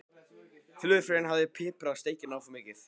Flugfreyjan hafði piprað steikina of mikið.